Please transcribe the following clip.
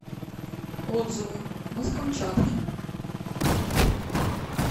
отзывы мы с камчатки